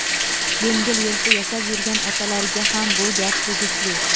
yengil-yelpi yashab yurgan otalarga ham bu gap tegishli.